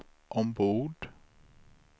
ombord